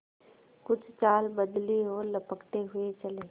कुछ चाल बदली और लपकते हुए चले